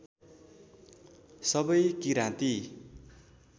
सबै किराँती